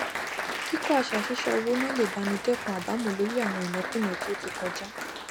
kíkọ àṣà ṣíṣọ owó ná lè bá ni dẹkun àbámọ lórí àwọn ìnákúná tí ó ti kọjá